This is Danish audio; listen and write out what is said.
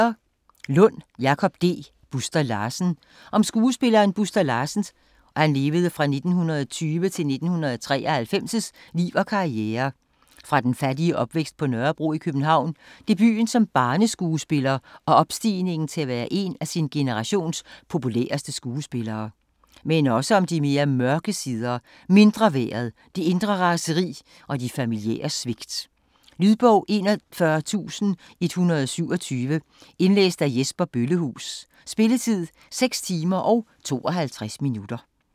Lund, Jakob D.: Buster Larsen Om skuespilleren Buster Larsens (1920-1993) liv og karriere fra den fattige opvækst på Nørrebro i København, debuten som barneskuespiller og opstigningen til at være en af sin generations populæreste skuespillere, men også om de mere mørke sider: mindreværdet, det indre raseri og de familiære svigt. Lydbog 41127 Indlæst af Jesper Bøllehuus Spilletid: 6 timer, 52 minutter.